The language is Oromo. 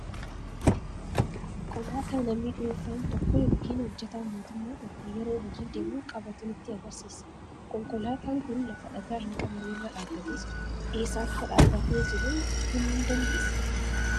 Konkolaataa namni dhuunfaan tokko yookiin hojjetaan mootummaa tokko yeroo hojii deemu qabatu nutti argisiisa. Konkolaataan kun lafa dhagaa hin qabne irra dhaabbatee jira. Eessa akka dhaabbatee jiru himuu ni dandeessaa?